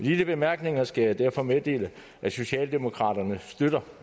disse bemærkninger skal jeg derfor meddele at socialdemokraterne støtter